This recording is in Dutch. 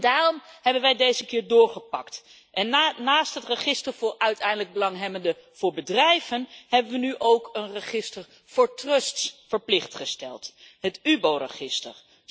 Daarom hebben wij deze keer doorgepakt en naast het register voor uiteindelijk belanghebbenden voor bedrijven hebben we nu ook een register voor trusts verplicht gesteld, het UBO register.